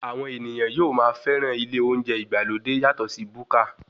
Àwọn ènìyàn yóò máa fẹ́ràn ilé oúnjẹ ìgbàlódé yàtọ sí búkà.